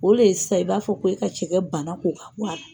O le ye sisan i b'a fɔ ko e ka cɛkɛ bana ko k'a bɔ a la.